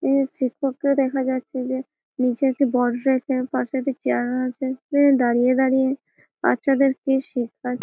নিচে শিক্ষককে দেখা যাচ্ছে যে নিচে একটি বট ব্যাংক -এ পাসে একটা চেয়ার রাখহা আছে সে দারিয়ে দারিয়ে বাচ্চা দের কি শেখায়।